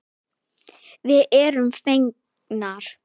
Við erum fegnar.